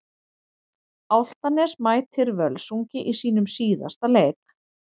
Álftanes mætir Völsungi í sínum síðasta leik.